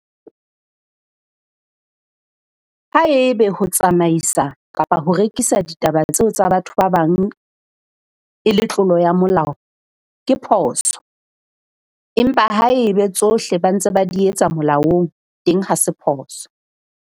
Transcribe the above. Haebe ho tsamaisa kapa ho rekisa ditaba tseo tsa batho ba bang e le tlolo ya molao, ke phoso. Empa haebe tsohle ba ntse ba di etsa molaong, teng ha se phoso.